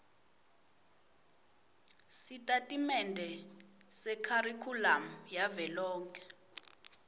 sitatimende sekharikhulamu yavelonkhe